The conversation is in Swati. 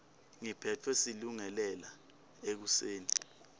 ngiphetfwe silungelele ekuseni